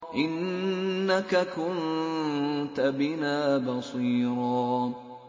إِنَّكَ كُنتَ بِنَا بَصِيرًا